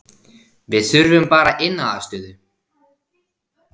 Við þurfum bara inniaðstöðu